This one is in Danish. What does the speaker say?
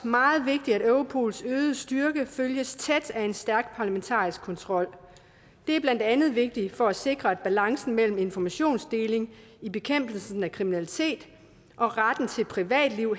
meget vigtigt at europols øgede styrke følges tæt af en stærk parlamentarisk kontrol det er blandt andet vigtigt for at sikre at balancen mellem informationsdeling i bekæmpelsen af kriminalitet og retten til et privatliv